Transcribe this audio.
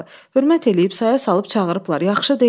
Hörmət eləyib, saya salıb çağırıblar, yaxşı deyil.